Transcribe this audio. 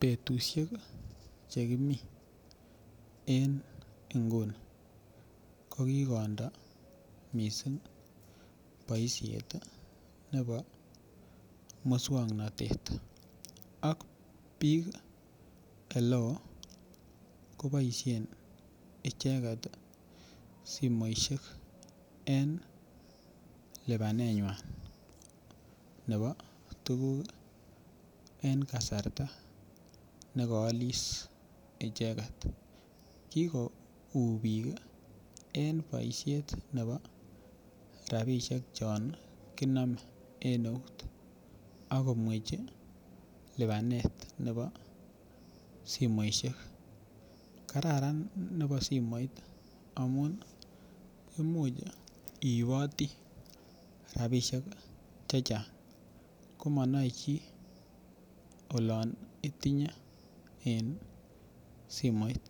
Betusiek chekimii en nguni ko kikondoo missing boisiet ih nebo muswongnotet ak biik eleoo koboisien icheket simoisiek en lipanet nywan nebo tuguk en kasarta nekoolis icheket. Kikouu biik en boisiet nebo rapisiek chon kinome en eut akomwechi lipanet nebo simoisiek. Kararan nebo simoit amun imuch iiboti rapisiek chechang komonoe chii olon itinye en simoit